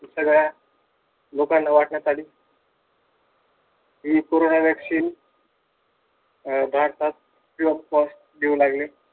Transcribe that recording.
सगळ्या लोकांना वाटण्यात आली. हि कोरोना vaccine अं भारतात free of cost देऊ लागले.